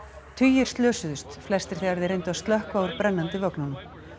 tugir slösuðust flestir þegar þeir reyndu að stökkva úr brennandi vögnunum